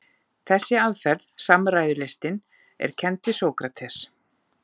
Þessi aðferð, samræðulistin, er kennd við Sókrates.